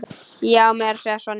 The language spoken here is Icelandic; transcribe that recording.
Já, meira að segja Sonja.